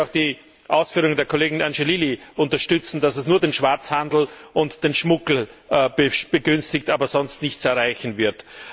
Ich möchte auch die Ausführungen der Kollegin Angelilli unterstützen, dass es nur den Schwarzhandel und den Schmuggel begünstigt, aber sonst nichts erreichen wird.